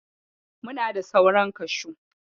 Muna da sauran kashu.